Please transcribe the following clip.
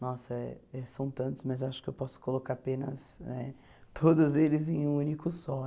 Nossa, são tantos, mas acho que eu posso colocar apenas né todos eles em um único só.